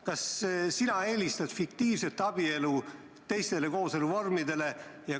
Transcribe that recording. Kas sina eelistad fiktiivabielu teistele kooseluvormidele?